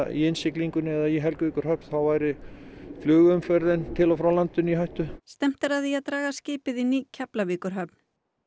í innsiglingunni eða í Helguvíkurhöfn þá væri flugumferð til og frá landinu í hættu stefnt er að því að draga skipið inn í Keflavíkurhöfn